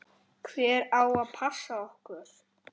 Hver á að passa okkur?